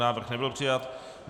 Návrh nebyl přijat.